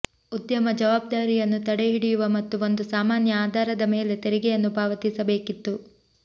ಉದ್ಯಮ ಜವಾಬ್ದಾರಿಯನ್ನು ತಡೆಹಿಡಿಯುವ ಮತ್ತು ಒಂದು ಸಾಮಾನ್ಯ ಆಧಾರದ ಮೇಲೆ ತೆರಿಗೆಯನ್ನು ಪಾವತಿಸಬೇಕಿತ್ತು